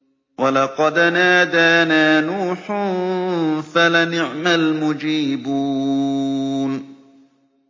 وَلَقَدْ نَادَانَا نُوحٌ فَلَنِعْمَ الْمُجِيبُونَ